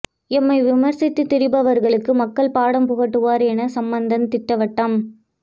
எம்மை விமர்சித்துத் திரிபவர்களுக்கு மக்கள் பாடம் புகட்டுவர் என சம்பந்தன் திட்டவட்டம்